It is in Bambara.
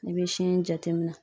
I bɛ sin in jateminɛ